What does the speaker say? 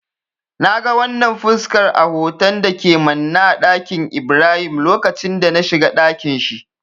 Na ga wannan fuskar a hoton da ke manne a ɗakin Ibrahim lokacin da na shiga dakin shi.